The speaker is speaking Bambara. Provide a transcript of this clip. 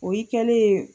O y'i kɛlen ye